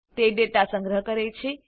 તે ડેટા સંગ્રહ કરે છે